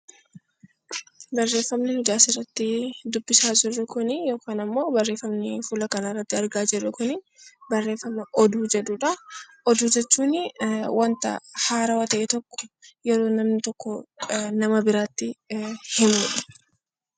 Barreeffamni nuti asirratti dubbisaa jirru kuni yookaan ammoo barreeffamni fuula kanarratti argaa jirru kuni barreeffama oduu jedhudha. Oduu jechuun waanta haarawaa ta'e tokko yeroo namni tokko nama biraatti himudha.